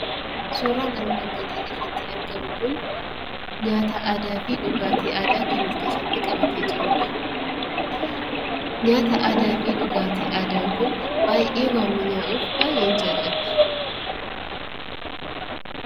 Suuraan armaan gadii irratti argamu kun nyaata aadaa fi dhugaatii aadaa kan of keessatti qabatee jirudha. Nyaata aadaa fi dhugaatiin aadaa kun baay'ee waan mi'aawuuf baay'ee jaalladheera.